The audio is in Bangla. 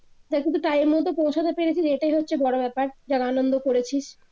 সেটার কিন্তু time পৌছাতে পেরেছিস এটাই হচ্ছে বড় ব্যাপার যারা আনন্দ করেছিস